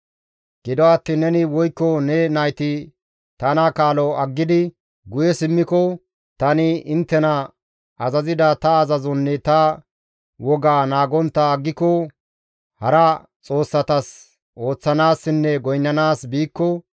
«Gido attiin neni woykko ne nayti tana kaalo aggidi guye simmiko, tani inttena azazida ta azazonne ta wogaa naagontta aggiko, hara xoossatas ooththanaassinne goynnanaas biikko,